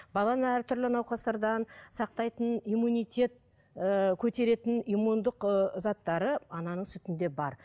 баланы әртүрлі науқастардан сақтайтын иммунитет ііі көтеретін имммундық ыыы заттары ананың сүтінде бар